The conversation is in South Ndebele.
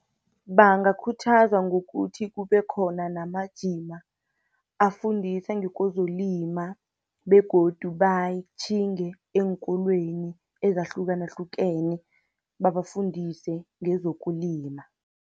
Bangakhuthazwa ngokuthi kube khona namajima, afundise ngekozokulima begodu batjhinge eenkolweni ezahlukahlukene, babafundise ngezokulima.